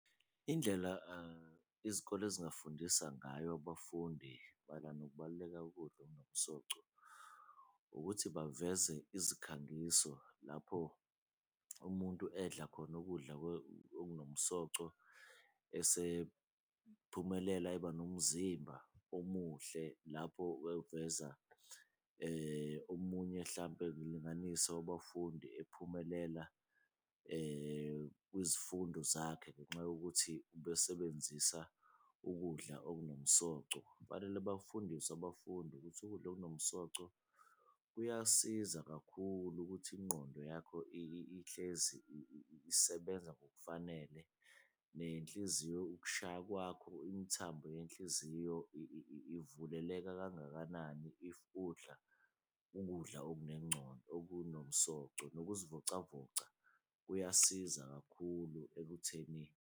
Indlela izikole ezingafundisa ngayo abafundi mayelana nokubaluleka kokudla okunomsoco ukuthi baveze izikhangiso lapho umuntu edla khona, ukudla okunomsoco esephumelela eba nomzimba omuhle lapho ewuveza. Omunye hlampe ngilinganise, wabafundi ephumelela kwizifundo zakhe ngenxa yokuthi ubesebenzisa ukudla okunomsoco, kufanele bafundiswe abafundi ukuthi ukudla okunomsoco kuyasiza kakhulu ukuthi ingqondo yakho ihlezi isebenza ngokufanele. Nenhliziyo ukushaya kwakho imithambo yenhliziyo ivuleleka kangakanani if udla ukudla okunomsoco, nokuzivocavoca kuyasiza kakhulu ekuthenini.